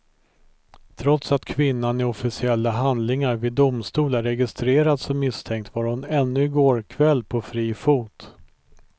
Trots att kvinnan i officiella handlingar vid domstol är registrerad som misstänkt var hon ännu i går kväll på fri fot.